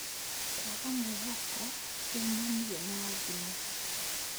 Kũaga mwĩhoko ũmanĩye na thimũ.